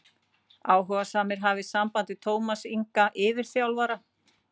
Áhugasamir hafi samband við Tómas Inga yfirþjálfara.